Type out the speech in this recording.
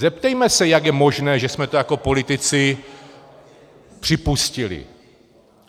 Zeptejme se, jak je možné, že jsme to jako politici připustili.